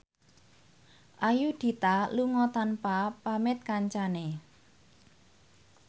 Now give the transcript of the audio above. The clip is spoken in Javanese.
Ayudhita lunga tanpa pamit kancane